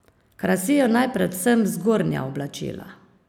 Krasijo naj predvsem zgornja oblačila.